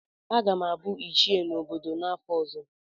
Aga m abụ ichie n'obodo m n'afọ ọzọ.